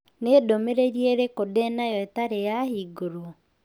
Nĩ ndũmĩrĩri ĩrĩkũ ndĩ na yo ĩtarĩ yahingũrwo?